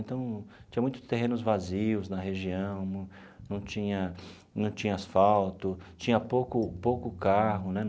Então, tinha muitos terrenos vazios na região, não não tinha não tinha asfalto, tinha pouco pouco carro, né?